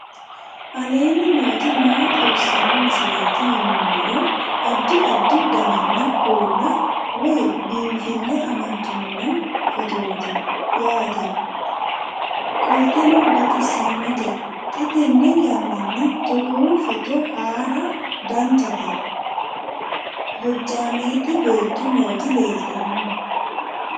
aleenni nooti maa xawisanno misileeti yinummoro addi addi dananna kuula woy biinfille amaddino footooti yaate qoltenno baxissannote xa tenne yannanni togoo footo haara danchate hojjaamete beetto nooti leeltanno